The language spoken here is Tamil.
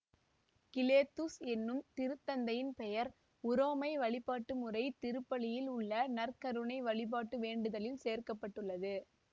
கிலேத்துஸ் என்னும் திருத்தந்தையின் பெயர் உரோமை வழிபாட்டு முறைத் திருப்பலியில் உள்ள நற்கருணை வழிபாட்டு வேண்டுதலில் சேர்க்க பட்டுள்ளது